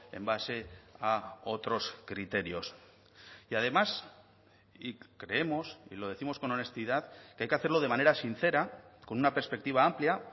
en base a otros criterios y además y creemos y lo décimos con honestidad que hay que hacerlo de manera sincera con una perspectiva amplia